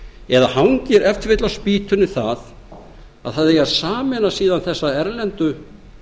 eða hangir það ef til vill á spýtunni að það eigi að sameina síðan þessa erlendu